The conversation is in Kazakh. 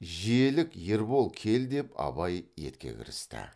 желік ербол кел деп абай етке кірісті